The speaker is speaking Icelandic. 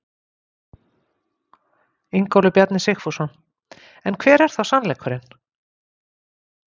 Ingólfur Bjarni Sigfússon: En hver er þá sannleikurinn?